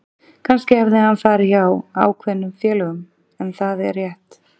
Kannski hefði hann farið hjá ákveðnum félögum en er það rétt?